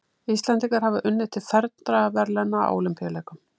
Íslendingar hafa unnið til fernra verðlauna á Ólympíuleikum.